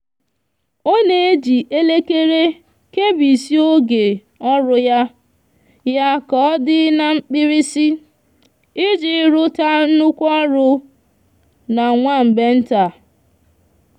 o n'eji elekere kebisia oge oru ya ya ka odi n'mkpirisi iji ruta nnukwu oru n'nwa mgbe nta